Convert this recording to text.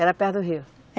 Era perto do rio?